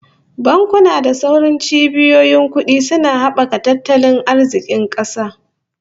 Bankuna da sauran cibiyoyin kudi suna habaka tattalin arzikin kasa